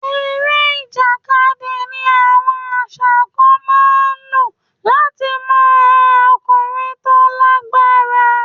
Eré ìjàkadì ni àwọn àṣà kan máa ń lò láti mọ ọkùnrin tó lágbára.